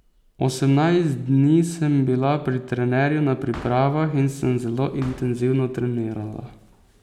Osemnajst dni sem bila pri trenerju na pripravah in sem zelo intenzivno trenirala.